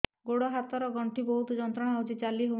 ଗୋଡ଼ ହାତ ର ଗଣ୍ଠି ବହୁତ ଯନ୍ତ୍ରଣା ହଉଛି ଚାଲି ହଉନାହିଁ